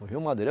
No Rio Madeira.